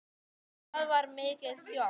Það var mikið sjokk.